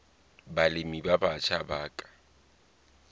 balemi ba batjha ba ka